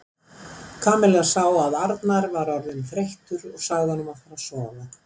Kamilla sá að Arnar var orðinn þreyttur og sagði honum að fara að sofa.